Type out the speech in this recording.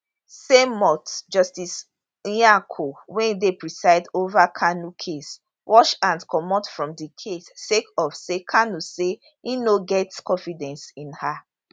same month justice nyako wey dey preside ovakanu case wash hand comotfrom di case sake of say kanu say im no get confidence in her